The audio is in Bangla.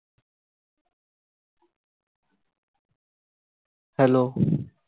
hello